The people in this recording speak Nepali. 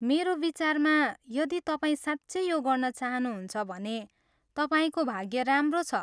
मेरो विचारमा यदि तपाईँ साँच्चै यो गर्न चाहनुहुन्छ भने तपाईँको भाग्य राम्रो छ।